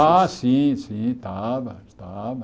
Ah, sim, sim, estava, estava.